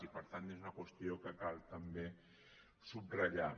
i per tant és una qüestió que cal també sub ratllar